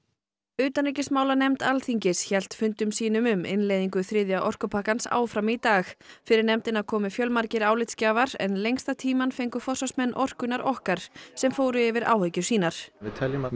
utanríkismálanefnd hélt fundum sínum um innleiðingu þriðja orkupakkans áfram í dag fyrir nefndina komu fjölmargir álitsgjafar en lengsta tímann fengu forsvarsmenn orkunnar okkar sem fóru yfir áhyggjur sínar við teljum að